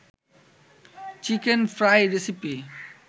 chicken fry recipe